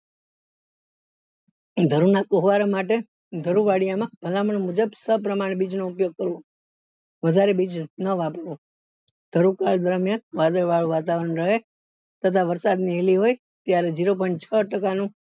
ઘર ના કોહ્વાલ માટે ભલામણ મુજબ સહ પ્રમાણ બીજ નો ઉપયોગ કરવો વધારે બીજો નો દરમિયાન વાદળ વાળું વાતાવરણ રહે તથા વરસાદ ની હેલી હોય ત્યારે zero point છ ટકા નો